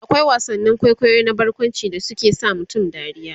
akwai wasannin kwaikwayo na barkwanci da suke sa mutum dariya